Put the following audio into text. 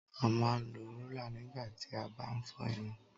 a ma n lo rola nigba ti a bá n fọ irun